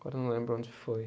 Agora eu não lembro onde foi.